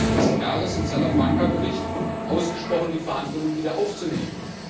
5. Mai dieses Jahres im Salafranca Bericht dafür ausgesprochen, die Verhandlungen wieder aufzunehmen.